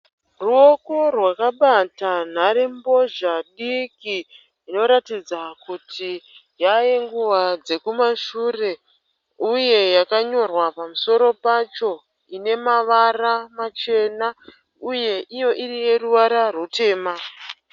Ruoko rwakabata nharembozha diki inoratidza kuti yave yenguva dzekumashure uye yakanyorwa pamusoro pacho. Ine mavara machena uye iyo iri yeruvara rutema.